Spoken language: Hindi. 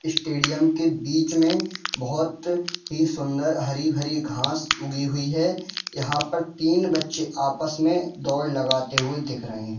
स्टेडियम के बीच में बहुत में ही सुंदर हरी-हरी घास लगी हुई हैयहां पर तीन बच्चे आपस में दौड़ लगाते हुए दिख रहे।